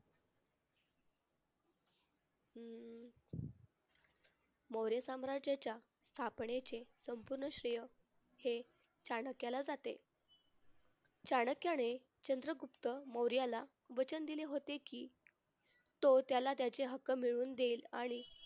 मौर्य साम्राज्याच्या स्थापनेचे संपूर्ण श्रेय हे चाणक्याला जाते. चाणक्याने चंद्रगुप्त मौर्याला वचन दिले होते की तो त्याला त्याचे हक्क मिळवून देईल आणि